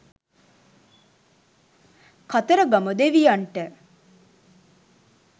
කතරගම දෙවියන්ට